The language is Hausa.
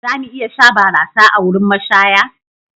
Za mu iya sha barasa a wurin mashaya?